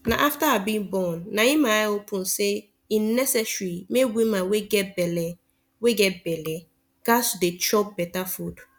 na after i be born na my eye open say e necesary make woman wey get belle wey get belle gats dey chop beta food